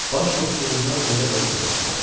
Baş qoşduğundan elə özü də utandı.